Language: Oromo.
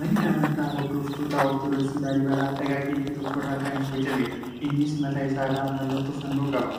Manni amantaa hordoftootaa Ortoodoksii Laaliibalaa dhagaa qeenxee tokko irraa kan bocameedha. Innis mataa isaa irraa mallattoo fannoo qaba.